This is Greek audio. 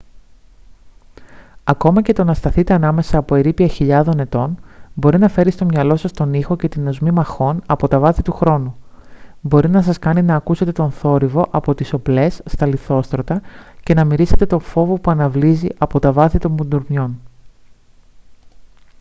ακόμα και το να σταθείτε ανάμεσα από ερείπια χιλιάδων ετών μπορεί να φέρει στο μυαλό σας τον ήχο και την οσμή μαχών από τα βάθη του χρόνου μπορεί να σας κάνει να ακούσετε τον θόρυβο από τις οπλές στα λιθόστρωτα και να μυρίσετε το φόβο που αναβλύζει από τα βάθη των μπουντρουμιών